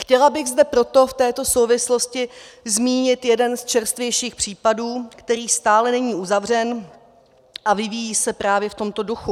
Chtěla bych zde proto v této souvislosti zmínit jeden z čerstvějších případů, který stále není uzavřen a vyvíjí se právě v tomto duchu.